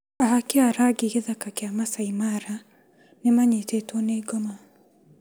Ahaki rangi gĩthaka kĩa Masai Mara nĩmanyitĩtwo nĩ ngoma.